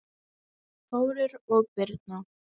Þórir og Birna.